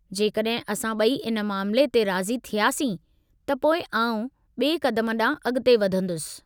जेकड॒हिं असां ॿई इन मामले ते राज़ी थियासीं, त पोइ आउं ॿिए क़दम ॾांहुं अॻिते वधंदुसि।